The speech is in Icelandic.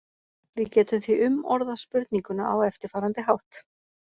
Við getum því umorðað spurninguna á eftirfarandi hátt: